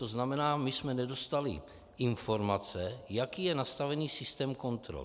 To znamená, my jsme nedostali informace, jaký je nastavený systém kontrol.